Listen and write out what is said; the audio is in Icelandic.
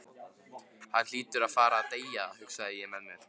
Hann hlýtur að fara að deyja, hugsaði ég með mér.